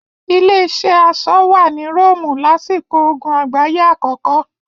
Ilé-iṣẹ́ aṣọ wà ní Róòmù lásìkò ogun àgbáyé àkọ́kọ́.